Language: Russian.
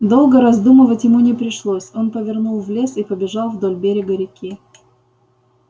долго раздумывать ему не пришлось он повернул в лес и побежал вдоль берега реки